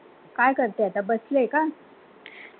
काय करते आता बसली आहे का?